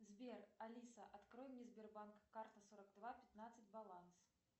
сбер алиса открой мне сбербанк карта сорок два пятнадцать баланс